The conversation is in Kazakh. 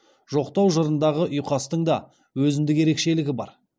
жоқтау жырындағы ұйқастың да өзіндік ерекшелігі бар